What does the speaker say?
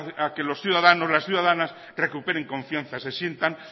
a que los ciudadanos las ciudadanas recuperen confianza se sientan